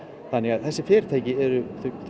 þessi fyrirtæki eru